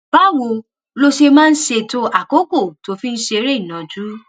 báwo lo ṣe máa ń ṣètò àkókò tó o fi ń ṣeré ìnàjú?